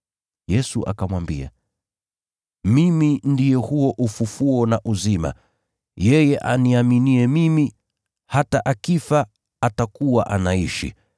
Yesu akamwambia, “Mimi ndiye huo ufufuo na uzima. Yeye aniaminiye mimi, hata akifa atakuwa anaishi